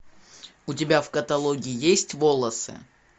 у тебя в каталоге есть волосы